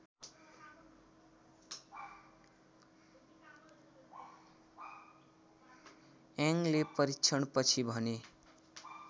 यङले परीक्षणपछि भने